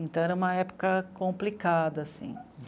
Então, era uma época complicada, assim.